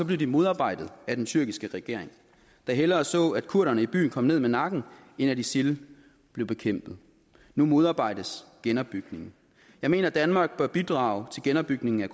blev de modarbejdet af den tyrkiske regering der hellere så at kurderne i byen kom ned med nakken end at isil blev bekæmpet nu modarbejdes genopbygningen jeg mener at danmark bør bidrage til genopbygningen af